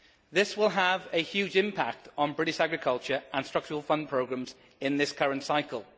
This will have a huge impact on British agriculture and structural fund programmes in this current cycle.